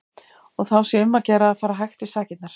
Og þá sé um að gera að fara hægt í sakirnar.